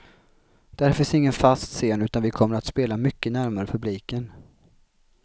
Där finns ingen fast scen utan vi kommer att spela mycket närmare publiken.